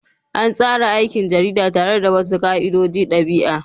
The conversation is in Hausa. An tsara aikin jarida tare da wasu ka'idojin ɗabi'a.